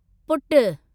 पुटु